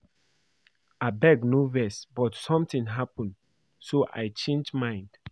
Abeg no vex but something happen so I change my mind